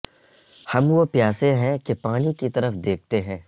ہم وہ پیاسے ہیں کہ پانی کی طرف دیکھتے ہیں